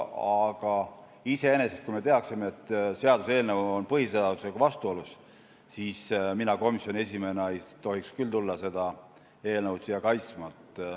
Aga iseenesest, kui me teaksime, et seaduseelnõu on põhiseadusega vastuolus, siis mina komisjoni esimehena ei tohiks küll tulla seda eelnõu siia kaitsma.